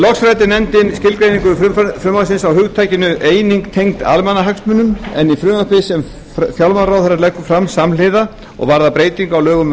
loks ræddi nefndin skilgreiningu frumvarpsins á hugtakinu eining tengd almannahagsmunum en í frumvarpi sem fjármálaráðherra leggur fram samhliða og varðar breytingu á lögum